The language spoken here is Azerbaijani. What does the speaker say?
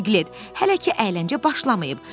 Piklet, hələ ki əyləncə başlamayıb.